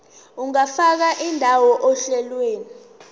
ungafaka indawo ohlelweni